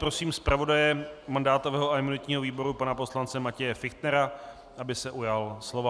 Prosím zpravodaje mandátového a imunitního výboru pana poslance Matěje Fichtnera, aby se ujal slova.